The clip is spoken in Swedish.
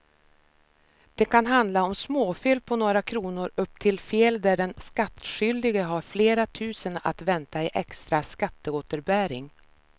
Det kan handla om småfel på några kronor upp till fel där den skattskyldige har flera tusen att vänta i extra skatteåterbäring.